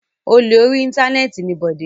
Olè orí Íńtánẹ́ẹ̀tì ni Bọ̀dé.